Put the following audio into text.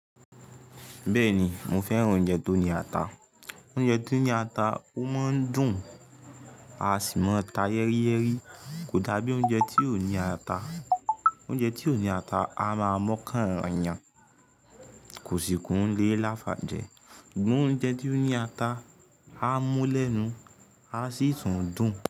Bẹ́ẹ̀ ni, mo fẹ́ràn oúnjẹ tó ní ata. Oúnjẹ tó ní ata, ó máa ń dùn, a sì máa ta yẹ́ríyẹ́rí, kò dá bí oúnjẹ tí ó ní ata. Oúnjẹ tí óo ní ata, a máa mọ́kàn yàn, kò sì kún lè láfà jẹ. Ṣùgbọ́n oúnjẹ tí ó ní ata, a mú lẹ́nu, a sì tún dùn.